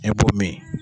E b'o min